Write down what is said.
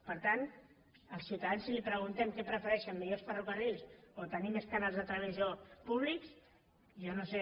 per tant als ciutadans si els preguntem què prefereixen millors ferrocarrils o tenir més canals de televisió públics jo no sé